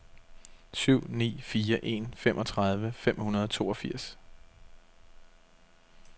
syv ni fire en femogtredive fem hundrede og toogfirs